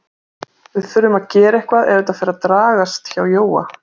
Við þurfum að gera eitthvað ef þetta fer að dragast hjá Jóa.